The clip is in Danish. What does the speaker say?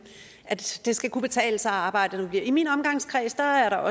at det skal kunne betale sig at arbejde i min omgangskreds har jeg